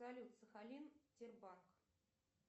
салют сахалин тербак